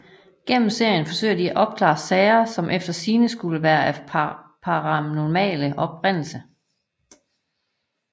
Gennem serien forsøger de at opklare sager som efter sigende skulle være af paranormal oprindelse